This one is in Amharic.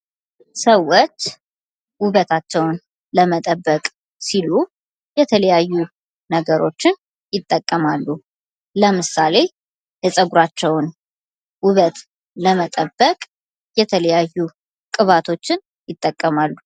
ሰወች ውበታቸውን ለመጠበቅ ሲሉ የተለያዩ ነገሮችን ይጠቀማሉ። ለምሳሌ፦ የፀጉራቸውን ውበት ለመጠበቅ የተለያዩ ቅባቶችን ይጠቀማሉ።